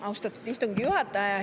Austatud istungi juhataja!